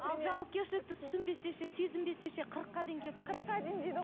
ал жауапкершілікті түсінбесе ше сезінбесе ше қырыққа дейін келіп қырыққа дейін дейді